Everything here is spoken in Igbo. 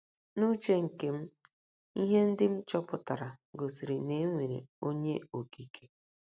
N’uche nke m, ihe ndị m chọpụtara gosiri na e nwere Onye Okike.